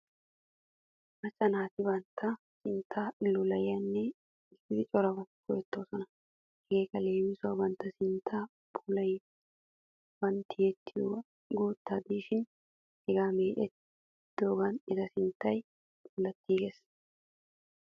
Macca naati bantta sintta luulayane giidi corabaa go'etoosona. Hegeekka leemisuwaassi bantta sinttan phuuphulliyaa tiyiyoogan guutta diishiiddi hegaa meecettiyoogan eta sintta puulattiiges.